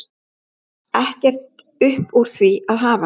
Ekkert upp úr því að hafa!